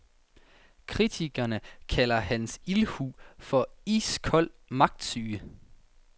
Kritikerne kalder hans ildhu for iskold magtsyge.